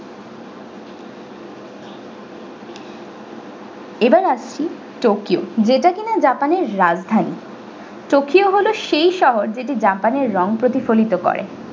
এবার আসছি tokyo যেটা কিনা japan এর রাজধানী tokyo হলো সেই শহর যেটি japan এর রং প্রতিফলিত করে।